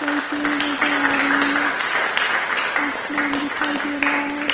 कई पेड़ नजर आ रहें हैं आसमान दिखाई दे रहा है।